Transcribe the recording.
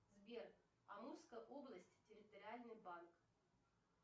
сбер амурская область территориальный банк